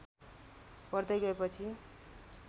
बढ्दै गएपछि